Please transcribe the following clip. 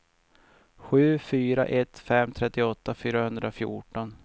sju fyra ett fem trettioåtta fyrahundrafjorton